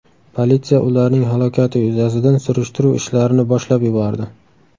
Politsiya ularning halokati yuzasidan surishtiruv ishlarini boshlab yubordi.